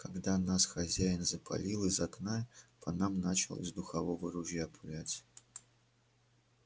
когда нас хозяин запалил из окна по нам начал из духового ружья пулять